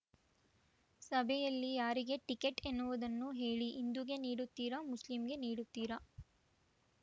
ಸಭೆಯಲ್ಲಿ ಯಾರಿಗೆ ಟಿಕೆಟ್‌ ಎನ್ನುವುದನ್ನು ಹೇಳಿ ಹಿಂದೂಗೆ ನೀಡುತ್ತೀರಾ ಮುಸ್ಲಿಂಗೆ ನೀಡುತ್ತೀರಾ